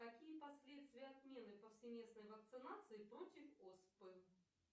какие последствия отмены повсеместной вакцинации против оспы